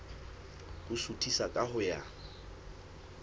ho suthisa ka ho ya